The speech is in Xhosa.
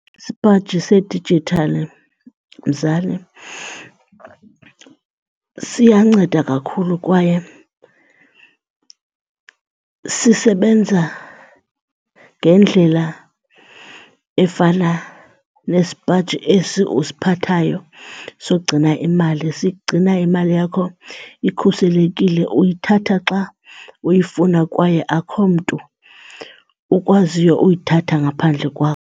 Isipaji sedijithali mzali, siyanceda kakhulu kwaye sisebenza ngendlela efana nesipaji esi usiphathayo sokugcina imali. Sigcina imali yakho ikhuselekile, uyithatha xa uyifuna kwaye akho mntu ukwaziyo uyithatha ngaphandle kwakho.